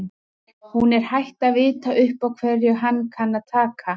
Hún er hætt að vita upp á hverju hann kann að taka.